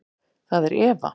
Það er Eva.